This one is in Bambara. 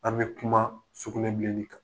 An' bɛ kuma sugunɛbilenni kan.